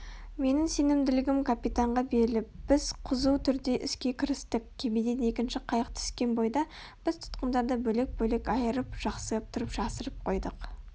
менің сенімділігім капитанға беріліп біз қызу түрде іске кірістік кемеден екінші қайық түскен бойда біз тұтқындарды бөлек-бөлек айырып жақсылап тұрып жасырып қойдық